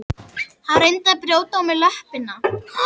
Hann reyndi að brjóta á mér löppina.